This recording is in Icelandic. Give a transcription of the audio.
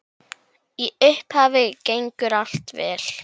Í upphafi gengur allt vel.